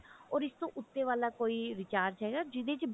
ਓਰ ਇਸ ਤੋਂ ਉੱਤੇ ਵਾਲਾ ਕੋਈ recharge ਹੈਗਾ ਜਿਹੜੇ ਚ